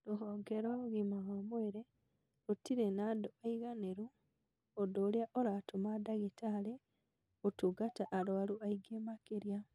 Rũhonge rwa ũgima wa mwĩrĩ rũtirĩ na andũ aiganĩru ũndũ ũrĩa ũratũma dagĩtarĩ gũtungata arwaru aingĩ makĩria